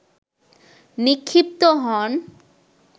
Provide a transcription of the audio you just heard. নিক্ষিপ্ত হন